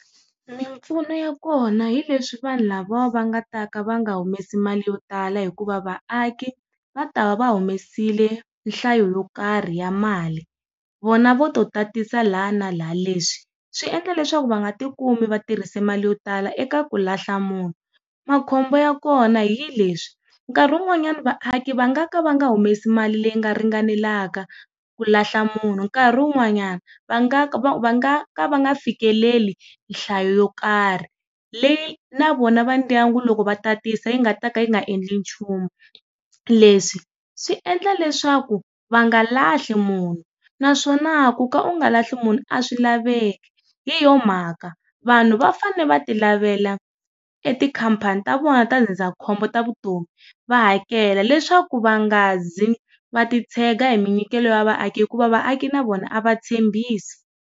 Mimpfuno ya kona hi leswi vanhu lava va nga ta ka va nga humesa ti mali yo tala hikuva vaaki, va ta va va humesile nhlayo yo karhi ya mali. Vona vo to tatisa la na la. Leswi, swi endla leswaku va nga ti kumi va tirhise mali yo tala eka ku lahla munhu. Makhombo ya kona hi leswi, nkarhi wun'wanyani vaaki va nga ka va nga humesi mali leyi nga ringanelaka ku lahla munhu nkarhi wun'wanyani, va nga ka va va nga ka va nga fikeleli nhlayo yo nkarhi leyi na vona va ndyangu loko va tatisa yi nga ta ka yi nga endli nchumu. Leswi, swi endla leswaku va nga lahli munhu, naswona ku ka u nga lahli munhu a swi laveki. Hi yoho mhaka, vanhu va fanele va ti lavela e tikhampani ta vona ta ndzindzakhombo ta vutomi, va hakela leswaku va nga zi, va ti tshega hi minyikelo ya vaaki hikuva vaaki na vona a va tshembisi.